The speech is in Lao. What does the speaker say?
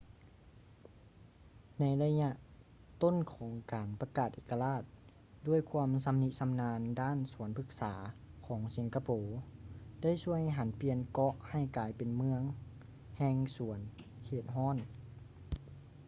ໃນໄລຍະຕົ້ນຂອງການປະກາດເອກະລາດ ດ້ວຍຄວາມຊຳນິຊຳນານດ້ານສວນພຶກສາຂອງສິງກະໂປໄດ້ຊ່ວຍຫັນປ່ຽນເກາະໃຫ້ກາຍເປັນເມືອງແຫ່ງສວນເຂດຮ້ອນ